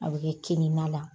A bɛ kɛ kinin na la.